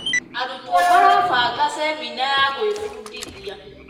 Arutwo marabanga cemina ya gwĩbundithia.